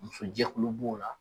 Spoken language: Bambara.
Muso jɛkulu b'o la